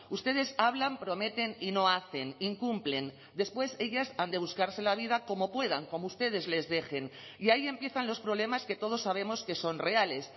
ustedes hablan prometen y no hacen incumplen después ellas han de buscarse la vida como puedan como ustedes les dejen y ahí empiezan los problemas que todos sabemos que son reales